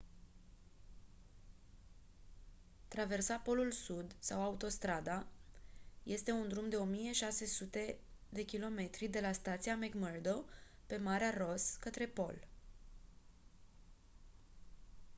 traversa polul sud sau autostrada este un drum de 1600 km de la stația mcmurdo pe marea ross către pol